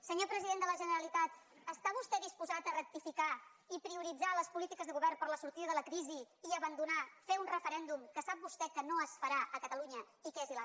senyor president de la generalitat està vostè disposat a rectificar i prioritzar les polítiques de govern per a la sortida de la crisi i a abandonar fer un referèndum que sap vostè que no es farà a catalunya i que és il